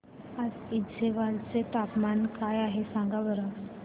आज ऐझवाल चे तापमान काय आहे सांगा बरं